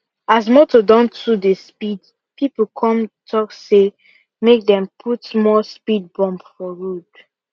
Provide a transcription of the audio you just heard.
as motor don too dey speed people come talk say make dem put more speed bump for road